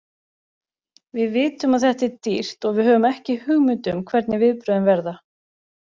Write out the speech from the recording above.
Við vitum að þetta er dýrt og við höfum ekki hugmynd um hvernig viðbrögðin verða.